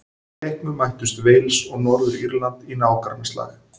Í leiknum mættust Wales og Norður-Írland í nágrannaslag.